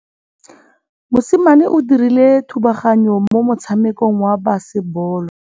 Mosimane o dirile thubaganyô mo motshamekong wa basebôlô.